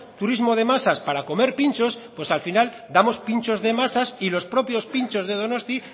turismo de masas para comer pinchos al final damos pinchos de masas y los propios pinchos de donosti